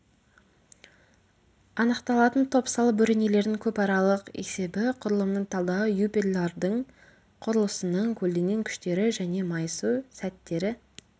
анықталатын топсалы бөренелердің көпаралық есебі құрылымның талдауы эпюрлардың құрылысының көлденең күштері және майысу сәттері